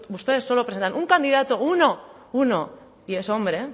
ustedes solo presentan un candidato uno uno y es hombre